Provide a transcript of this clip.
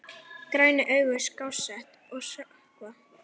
Grænu augun skásett að sökkva.